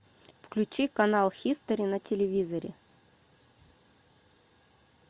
включи канал хистори на телевизоре